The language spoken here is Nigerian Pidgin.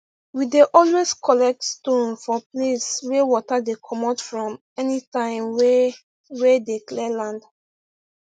we dey always collect stone for place wey water dey comot from anytime wey wey dey clear land